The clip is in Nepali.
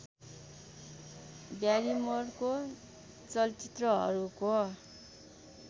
ब्यारिमोरको चलचित्रहरूको